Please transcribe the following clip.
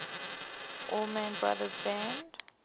allman brothers band